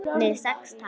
Með sex tær?